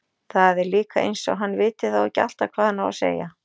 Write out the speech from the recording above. Það er líka eins og hann viti þá ekki alltaf hvað hann á að segja.